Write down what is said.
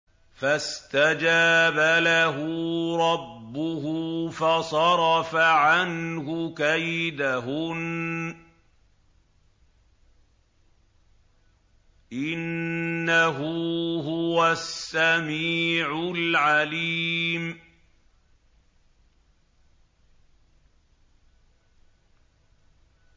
فَاسْتَجَابَ لَهُ رَبُّهُ فَصَرَفَ عَنْهُ كَيْدَهُنَّ ۚ إِنَّهُ هُوَ السَّمِيعُ الْعَلِيمُ